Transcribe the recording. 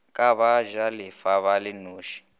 ke bajalefa ba le noši